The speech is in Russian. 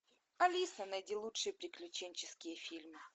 алиса найди лучшие приключенческие фильмы